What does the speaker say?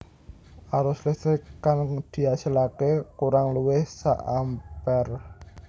Arus listrik kang diasilaké kurang luwih sak ampere